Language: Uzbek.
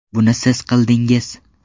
Buni siz qildingiz.